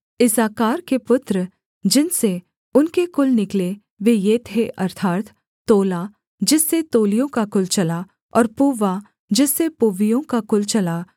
इस्साकार के पुत्र जिनसे उनके कुल निकले वे ये थे अर्थात् तोला जिससे तोलियों का कुल चला और पुव्वा जिससे पुव्वियों का कुल चला